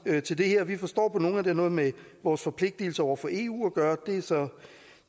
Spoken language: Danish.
til det her vi forstår på nogen at det har noget med vores forpligtelse over for eu at gøre